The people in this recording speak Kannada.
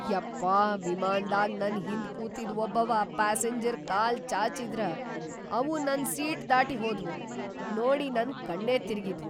ಯಪ್ಪಾ ವಿಮಾನ್ದಾಗ್ ನನ್‌ ಹಿಂದ್‌ ಕೂತಿದ್‌ ವಬ್ಬವ ಪ್ಯಾಸಿಂಜರ್‌ ಕಾಲ್‌ ಚಾಚಿದ್ರ ಅವು ನನ್‌ ಸೀಟ್‌ ದಾಟಿ ಹೋದ್ವು, ನೋಡಿ ನನ್‌ ಕಣ್ಣೇ ತಿರಗಿದ್ವು.